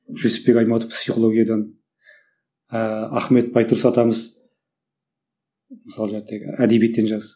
жүсіпбек аймауытов психологиядан ыыы ахмет байтұрсын атамыз мысалы әдебиеттен жазды